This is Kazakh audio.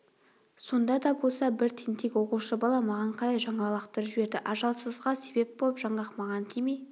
сонда да болса бір тентек оқушы бала маған қарай жаңғақ лақтырып жіберді ажалсызға себеп болып жаңғақ маған тимей